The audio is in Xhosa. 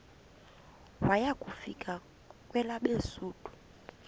waya kufika kwelabesuthu